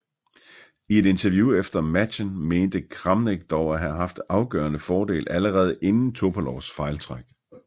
I et interview efter matchen mente Kramnik dog at have haft en afgørende fordel allerede inden Topalovs fejltræk